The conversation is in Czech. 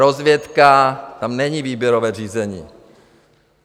Rozvědka, tam není výběrové řízení.